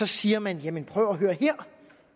siger man jamen prøv at høre her